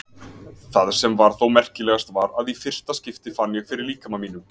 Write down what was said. Það sem var þó merkilegast var að í fyrsta skipti fann ég fyrir líkama mínum.